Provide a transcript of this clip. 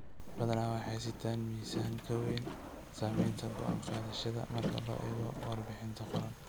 Badana waxay sitaan miisaan ka weyn saamaynta go'aan qaadashada marka loo eego warbixin qoran.